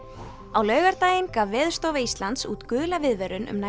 á laugardaginn gaf Veðurstofa Íslands út gula viðvörun um nær